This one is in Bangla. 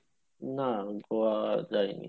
না গোয়া যায়নি